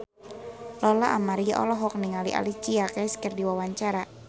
Lola Amaria olohok ningali Alicia Keys keur diwawancara